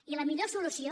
i la millor solució